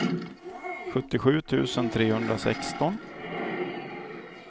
sjuttiosju tusen trehundrasexton